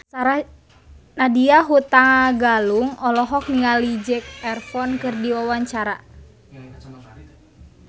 Nadya Hutagalung olohok ningali Zac Efron keur diwawancara